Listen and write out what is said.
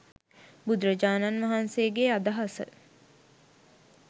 බුදුරජාණන් වහන්සේගේ අදහස.